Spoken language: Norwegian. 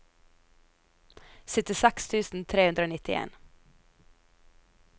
syttiseks tusen tre hundre og nittien